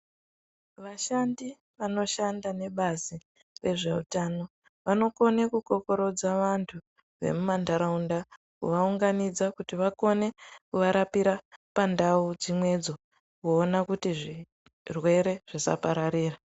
Vashandi vanoshanda nebazi rezveutano ,vanokone kukokorodza vantu vemumandaraunda kuti vakone kuvarapira mumandau dzimwedzo kuone kuti zvirwere zvisapararira.